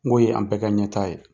N go ye an bɛɛ ka ɲɛ taa ye.